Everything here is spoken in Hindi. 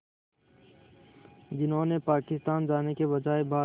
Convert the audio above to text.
जिन्होंने पाकिस्तान जाने के बजाय भारत